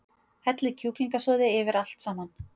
Hellið kjúklingasoði yfir allt saman.